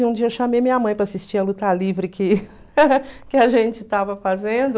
E um dia chamei minha mãe para assistir a Luta Livre que que a gente estava fazendo.